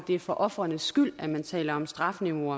er for ofrenes skyld at man taler om strafniveau